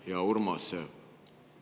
Hea Urmas!